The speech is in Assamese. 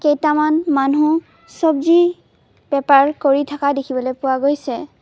কেইটামান মানুহ চবজি বেপাৰ কৰি থকা দেখিবলৈ পোৱা গৈছে।